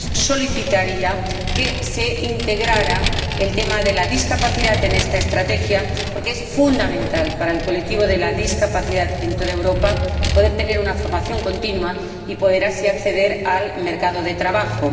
Solicitaría que se integrara el tema de las personas con discapacidad en esta Estrategia, porque es fundamental para este colectivo de personas en toda Europa poder tener una formación continua y poder así acceder al mercado de trabajo.